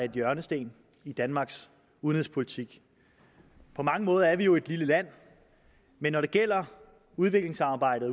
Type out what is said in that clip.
en hjørnesten i danmarks udenrigspolitik på mange måder er vi jo et lille land men når det gælder udviklingsarbejdet